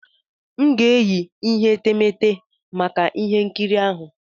M ga-eyi ihe etemeete maka ihe nkiri ahụ.